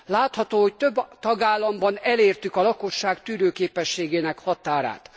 Látható, hogy több tagállamban elértük a lakosság tűrőképességének határát.